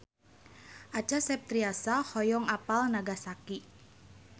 Acha Septriasa hoyong apal Nagasaki